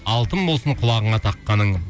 алтын болсын құлағыңа таққаның